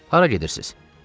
hara gedirsiz?